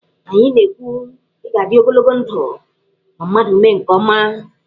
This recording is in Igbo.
Anyị na- ekwu, 'ị ga-adị ogologo ndụ' ma mmadụ mee nke ọma.